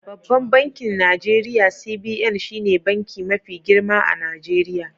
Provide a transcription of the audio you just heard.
Babban bankin Najeriya CBN shine banki mafi girma a Najeriya.